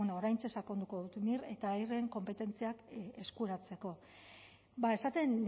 bueno oraintxe sakonduko dut mir eta eirren konpetentziak eskuratzeko ba esaten